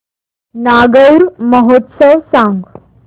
नागौर महोत्सव सांग